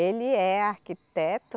Ele é arquiteto.